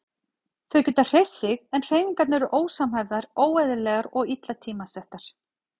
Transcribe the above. Þau geta hreyft sig en hreyfingarnar eru ósamhæfðar, óeðlilegar og illa tímasettar.